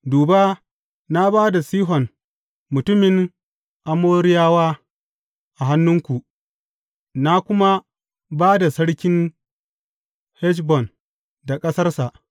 Duba, na ba da Sihon mutumin Amoriyawa a hannunku, na kuma ba da sarkin Heshbon da ƙasarsa.